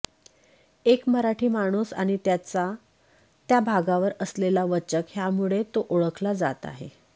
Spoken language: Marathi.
एक मराठी माणूस आणि त्याचा त्या भागावर असलेला वचक ह्यामुळे तो ओळखला जात होता